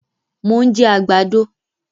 Mo ń jẹ àgbàdo